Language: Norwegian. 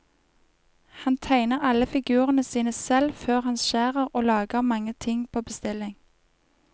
Han tegner alle figurene sine selv før han skjærer, og lager mange ting på bestilling.